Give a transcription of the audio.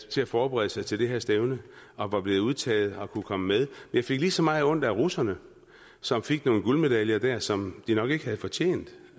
til at forberede sig til det her stævne og var blevet udtaget og kunne komme med jeg fik lige så meget ondt af russerne som fik nogle guldmedaljer der som de nok ikke havde fortjent